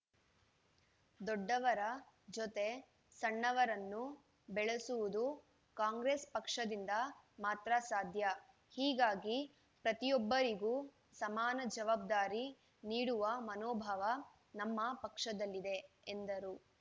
ದೊಡ್ಡವರ ಜೊತೆ ಸಣ್ಣವರನ್ನು ಬೆಳೆಸುವುದು ಕಾಂಗ್ರೆಸ್‌ ಪಕ್ಷದಿಂದ ಮಾತ್ರ ಸಾಧ್ಯ ಹೀಗಾಗಿ ಪ್ರತಿಯೊಬ್ಬರಿಗೂ ಸಮಾನ ಜವಾಬ್ದಾರಿ ನೀಡುವ ಮನೋಭಾವ ನಮ್ಮ ಪಕ್ಷದಲ್ಲಿದೆ ಎಂದರು